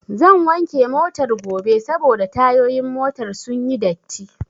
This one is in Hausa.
Zan wanke Motar gobe saboda tayoyin motar sunyi datti